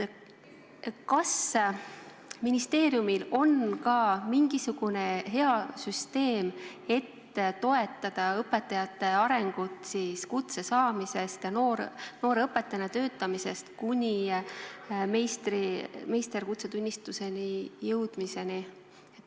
Kas ministeeriumil on ka mingisugune hea süsteem, et toetada õpetajate arengut kutse saamisest, nooremõpetajana töötamisest kuni meisterõpetaja kutsetunnistuseni jõudmiseni?